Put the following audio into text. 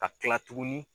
Ka kila tuguni